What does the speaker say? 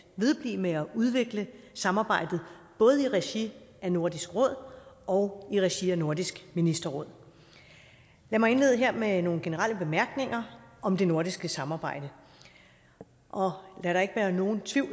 vedblive med at udvikle samarbejdet både i regi af nordisk råd og i regi af nordisk ministerråd lad mig indlede her med nogle generelle bemærkninger om det nordiske samarbejde og lad der ikke være nogen tvivl